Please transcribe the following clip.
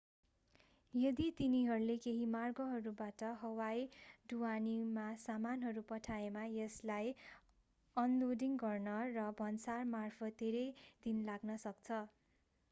यदि तिनीहरूले केही मार्गहरूबाट हवाई ढुवानीमा सामानहरू पठाएमा यसलाई अनलोडिङ गर्न र भन्सारमार्फत धेरै दिन लाग्न सक्छ